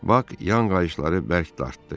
Bak yan qayışları bərk dartdı.